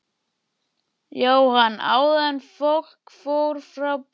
Jóhann: Áður en fólk fór frá borði?